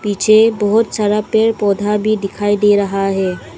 पीछे बहुत सारा पेड़ पौधा भी दिखाई दे रहा है।